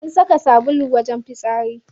An saka sabon wajen fitsari.